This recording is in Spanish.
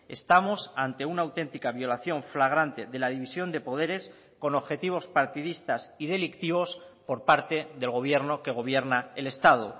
estamos ante una auténtica violación flagrante de la división de poderes con objetivos partidistas y delictivos por parte del gobierno que gobierna el estado